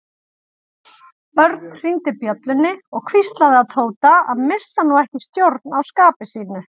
Örn hringdi bjöllunni og hvíslaði að Tóta að missa nú ekki stjórn á skapi sínu.